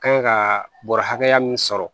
Kan ka bɔrɛ hakɛya mun sɔrɔ